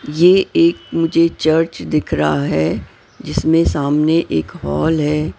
ये एक मुझे चर्च दिख रहा है जिसमें सामने एक हॉल है।